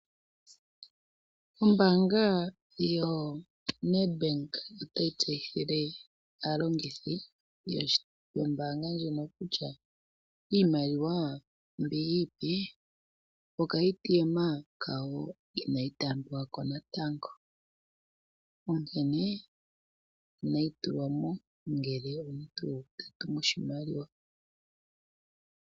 Ombaanga yoNedbank otayi tseyithile aalongithi yombaanga ndjono kutya iimaliwa mbi iipe, mokashina kawo kokunana iimaliwa inayi taambiwa ko natango. Onkene, inayi tulwa mo ngele omuntu ta tumu oshimaliwa.